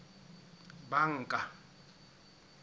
banka